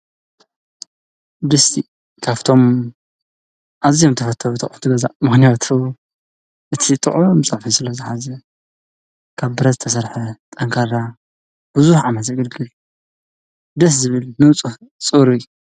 ድስቲ ካብቶም ኣዝዮም ተፈተውቲ ኣቁሑት ገዛ ምክንያቱ እቲ ጥዑም ጽብሒ ስለዝሓዘ ካብ ብረት ተሰረሐ ጠንካራ ብዙሕ ዓመት ዘገልግል እዩ ደስ ዝብል ንጽህ ጽሩይ።